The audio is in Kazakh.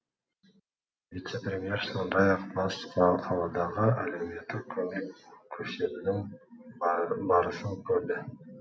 вице премьер сондай ақ бас қаладағы әлеуметтік көмек көрсетудің барысын көрді